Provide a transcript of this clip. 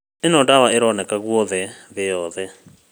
Ĩno nĩ dawa ĩroneka guothe thĩ yothe